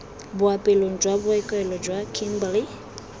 boapeelong jwa bookelo jwa kimberley